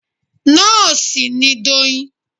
Nóòsì ni Doyin